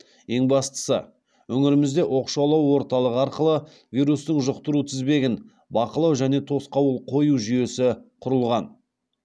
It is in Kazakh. ең бастысы өңірімізде оқшаулау орталығы арқылы вирустың жұқтыру тізбегін бақылау және тосқауыл қою жүйесі құрылған